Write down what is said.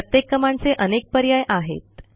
प्रत्येक कमांडचे अनेक पर्याय आहेत